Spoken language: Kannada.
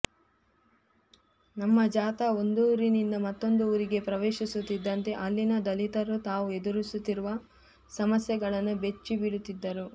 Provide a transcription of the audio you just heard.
ನಮ್ಮ ಜಾಥಾ ಒಂದೂರಿನಿಂದ ಮತ್ತೊಂದು ಊರಿಗೆ ಪ್ರವೇಶಿಸುತ್ತಿದ್ದಂತೆ ಅಲ್ಲಿನ ದಲಿತರು ತಾವು ಎದುರಿಸುತ್ತಿರುವ ಸಮಸ್ಯೆಗಳನ್ನು ಬಿಚ್ಚಿಡುತ್ತಿದ್ದರು